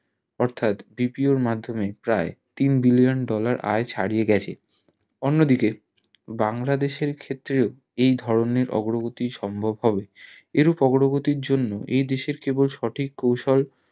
অর্থাৎ BPO র মাদ্ধমে প্রায় তিন billion dollar আয়ে ছাড়িয়ে গিয়েছে অন্য দিকে বাংলাদেশের ক্ষেত্রেও এই ধরণের অগ্রগতি সম্ভব হবে এরূপ অগ্রগতির জন্য এই দেশের কেবল সঠিক কৌশল